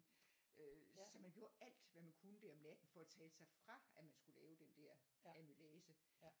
øh så man gjorde alt hvad man kunne der om natten for at tale sig fra at man skulle lave den der øhm amylase